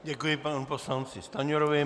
Děkuji panu poslanci Stanjurovi.